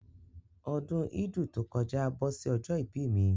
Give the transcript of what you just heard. Ọdún ídù to kọjá bọ́ sí ọjọ́ ìbí mi